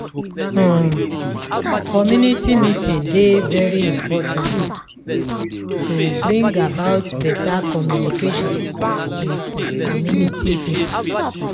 um community meeting dey very important to bring about better communication with um community pipo